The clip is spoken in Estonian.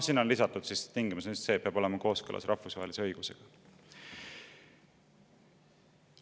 Sinna on lisatud tingimus, et see peab olema kooskõlas rahvusvahelise õigusega.